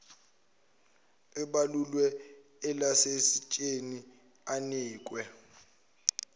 ebalulwe elayisensini anikwe